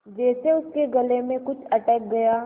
जैसे उसके गले में कुछ अटक गया